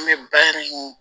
An bɛ bari